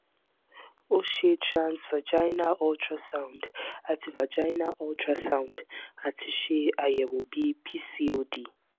o ṣe transvaginal ultrasound ati vaginal ultrasound ati ṣe ayẹwo bi pcod